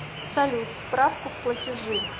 салют справку в платежи